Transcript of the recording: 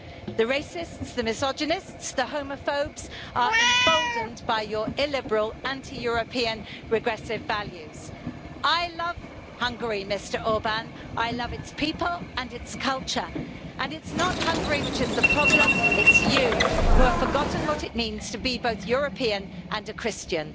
The racists, the misogynists and the homophobes are emboldened by your illiberal, anti European, regressive values. I love Hungary, Mr Orbán, I love its people and its culture, and it's not Hungary which is the problem it's you, who have forgotten what it means to be both European and a Christian.